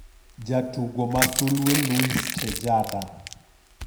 Jatugo ma Sulwe: Luis Tejada.